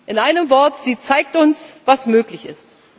In einem Wort Sie zeigt uns, was möglich ist.